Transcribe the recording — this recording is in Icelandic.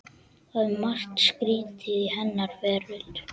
Það er margt skrýtið í henni veröld.